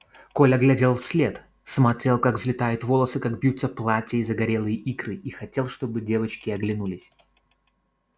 коля глядел вслед смотрел как взлетают волосы как бьются платья и загорелые икры и хотел чтобы девочки оглянулись